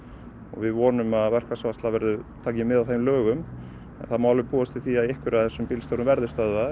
við vonum að verkfallsvarsla taki mið af þeim lögum það má alveg búast við því að einhverjir af þessum bílstjórum verði stöðvaðir